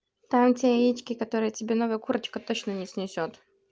там ведь яички которые тебе новая курочка точно не снесёт